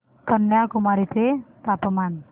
कन्याकुमारी चे तापमान